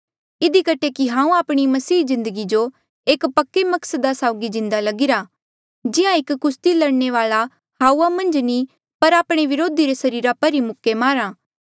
इधी कठे ही हांऊँ आपणी मसीह जिन्दगी जो एक पक्के मकसदा साउगी जिंदा लगीरा जिहां एक कुस्ती लड़ने वाल्आ हाऊआ मन्झ नी पर आपणे व्रोधी रे सरीरा पर ही मुक्के मारहा